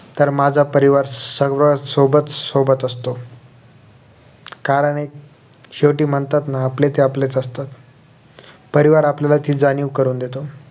तर माझा परिवार संगत सोबत सोबत असतो कारण एक शेवटी म्हणतात ना आपले ते आपलेच असतात परिवार आपल्याला ती जाणीव करून देतो